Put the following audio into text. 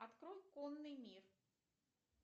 открой конный мир